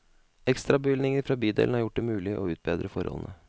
Ekstrabevilgninger fra bydelen har gjort det mulig å utbedre forholdene.